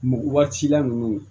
Mɔ waati la ninnu